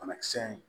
Banakisɛ in